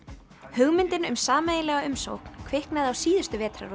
hugmyndin um sameiginlega umsókn kviknaði á síðustu